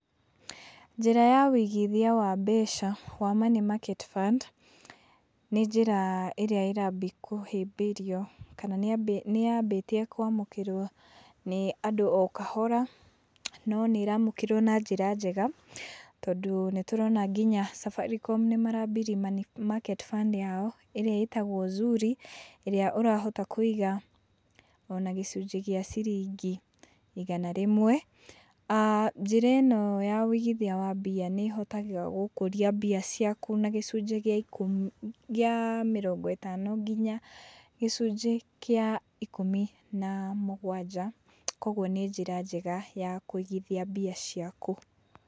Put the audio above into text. Njĩra ya ũigithia wa mbeca wa Money Market Fund ĩrĩa ĩraambia kũhĩmbĩrio kana nĩ yambĩtie kũamũkĩrwo nĩ andũ o kahora no nĩ ĩramũkĩrwo na njĩra njega, tondũ nĩ tũrona nginya Safaricom nĩ marambirie Money Market Fund yao ĩrĩa ĩtagwo Zuri, ĩrĩa ũrahota kũiga ona gĩcunjĩ gĩa ciringi igana rĩmwe. Aah njĩra ĩno ya ũigithia wa mbia nĩ ĩhotaga gũkũria mbia ciaku na gĩcunjĩ gĩa ikũmi gĩa mĩrongo ĩtano nginya gĩcunjĩ kĩa ikũmi na mũgwanja, kogwo nĩ njĩra njega ya kũigithia mbia ciaku.